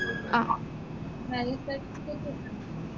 marriage certificate വേണൊ